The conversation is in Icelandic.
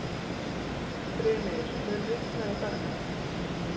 Brimir, mun rigna í dag?